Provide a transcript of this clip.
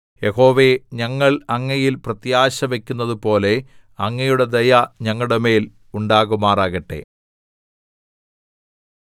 യഹോവേ ഞങ്ങൾ അങ്ങയിൽ പ്രത്യാശവക്കുന്നതുപോലെ അങ്ങയുടെ ദയ ഞങ്ങളുടെമേൽ ഉണ്ടാകുമാറാകട്ടെ